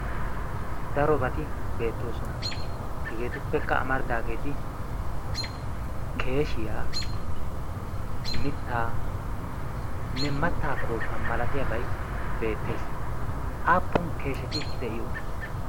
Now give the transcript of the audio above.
darobati beettoosona hegeetuppekka amaridaageeti keeshiyaa mittaanne mattaa kootta malatiyaabay beettees aappun keesheti de'iyoona